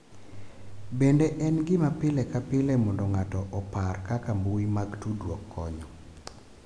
Bende en gima pile ka pile mondo ng’ato opar kaka mbui mag tudruok konyo